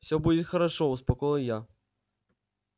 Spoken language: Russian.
всё будет хорошо успокоил я